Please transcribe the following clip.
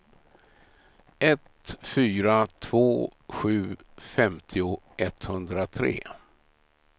ett fyra två sju femtio etthundratre